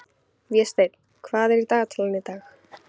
Vésteinn, hvað er í dagatalinu í dag?